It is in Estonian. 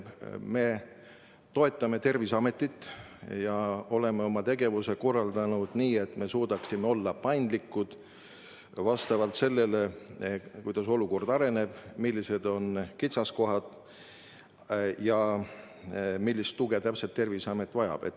Me toetame Terviseametit ja oleme oma tegevuse korraldanud nii, et püüame olla paindlikud vastavalt sellele, kuidas olukord areneb, millised on kitsaskohad ja millist tuge täpselt Terviseamet vajab.